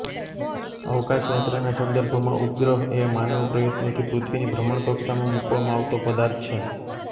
અવકાશયાત્રાના સંદર્ભમાં ઉપગ્રહ એ માનવ પ્રયત્નોથી પૃથ્વીની ભ્રમણકક્ષામાં મુકવામાં આવતો પદાર્થ છે